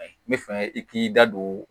N bɛ fɛ i k'i da don